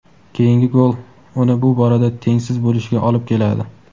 Keyingi gol uni bu borada tengsiz bo‘lishiga olib keladi.